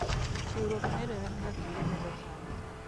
Chiwruok medore kaka kinde medo kalo.